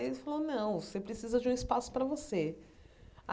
Ele falou, não, você precisa de um espaço para você.